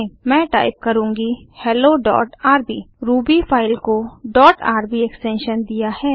मैं टाइप करुँगी helloआरबी रूबी फाइल को डॉट आरबी एक्सटेंशन दिया है